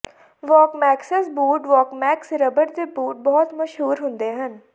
ਵਾਕਮੈਕਸੈਕਸ boot Walkmax rubber ਦੇ boot ਬਹੁਤ ਮਸ਼ਹੂਰ ਹੁੰਦੇ ਹਨ